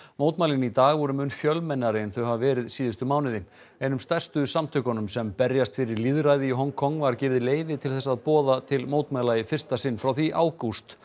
mótmælin í dag voru mun fjölmennari en þau hafa verið síðustu mánuði einum stærstu samtökunum sem berjast fyrir lýðræði í Hong Kong var gefið leyfi til þess að boða til mótmæla í fyrsta sinn frá því í ágúst